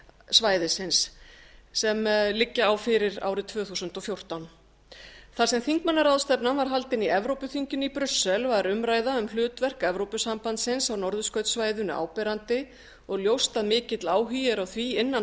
svæðisins sem liggja á fyrir árið tvö þúsund og fjórtán þar sem þingmannaráðstefnan var haldin í evrópuþinginu í brussel var umræða um hlutverk evrópusambandsins á norðurskautssvæðinu áberandi og ljóst að mikill áhugi er á því innan